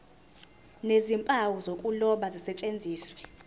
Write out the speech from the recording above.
nezimpawu zokuloba zisetshenziswe